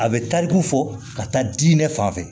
A bɛ tariku fɔ ka taa diinɛ fan fɛ